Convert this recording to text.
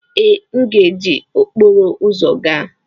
Ee, m ga-eji okporo ụzọ gaa.